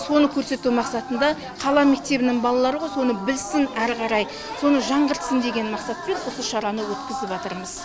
соны көрсету мақсатында қала мектебінің балалары ғой соны білсін әрі қарай соны жаңғыртсын деген мақсатпен осы шараны өткізіватырмыз